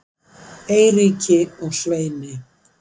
Eiríki og Sveini